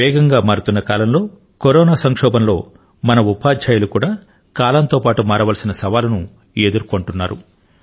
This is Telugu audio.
వేగంగా మారుతున్న కాలం లో కరోనా సంక్షోభం లో మన ఉపాధ్యాయులు కూడా కాలంతో పాటు మారవలసిన సవాలును ఎదుర్కొంటారు